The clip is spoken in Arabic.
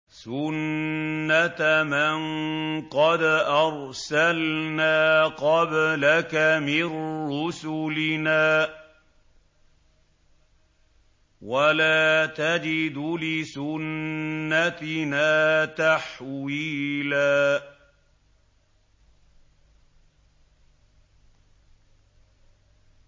سُنَّةَ مَن قَدْ أَرْسَلْنَا قَبْلَكَ مِن رُّسُلِنَا ۖ وَلَا تَجِدُ لِسُنَّتِنَا تَحْوِيلًا